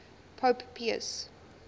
pope pius